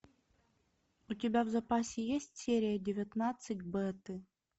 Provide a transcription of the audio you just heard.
у тебя в запасе есть серия девятнадцать беты